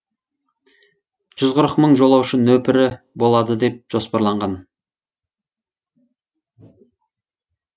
жүз қырық мың жолаушы нөпірі болады деп жоспарланған